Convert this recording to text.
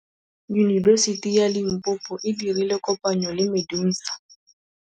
Yunibesiti ya Limpopo e dirile kopanyô le MEDUNSA.